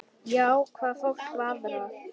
Já, hvað fólk varðar.